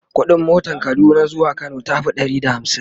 ƙuɗin motan Kaduna zuwa Kano tafi Ɗari da hamsin